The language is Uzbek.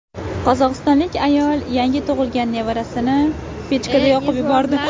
Qozog‘istonlik ayol yangi tug‘ilgan nevarasini pechkada yoqib yubordi.